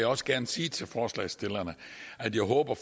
også gerne sige til forslagsstillerne at jeg håber